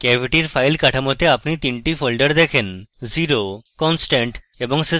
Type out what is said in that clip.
cavity এর file কাঠামোতে আপনি 3 টি ফোল্ডার দেখেন: 0 constant এবং system